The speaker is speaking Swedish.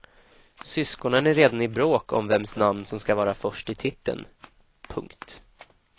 Syskonen är redan i bråk om vems namn som ska vara först i titeln. punkt